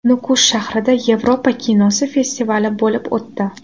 Nukus shahrida Yevropa kinosi festivali bo‘lib o‘tdi.